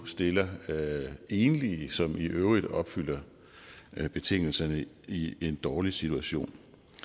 stiller enlige som i øvrigt opfylder betingelserne i en dårlig situation